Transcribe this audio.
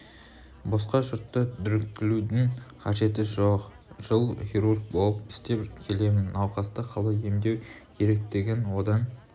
босқа жұртты дүрліктірудің қажеті жоқ жыл хирург болып істеп келемін науқасты қалай емдеу керектігін одан